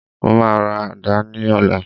Mo máa ra àdá náà ní ọ̀la